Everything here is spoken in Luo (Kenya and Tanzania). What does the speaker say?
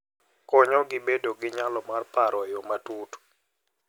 Konyogi bedo gi nyalo mar paro e yo matut.